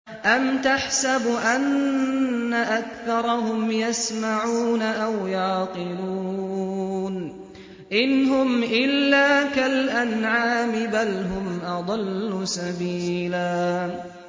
أَمْ تَحْسَبُ أَنَّ أَكْثَرَهُمْ يَسْمَعُونَ أَوْ يَعْقِلُونَ ۚ إِنْ هُمْ إِلَّا كَالْأَنْعَامِ ۖ بَلْ هُمْ أَضَلُّ سَبِيلًا